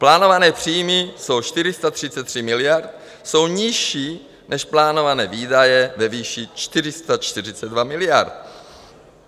Plánované příjmy jsou 433 miliard, jsou nižší než plánované výdaje ve výši 442 miliard.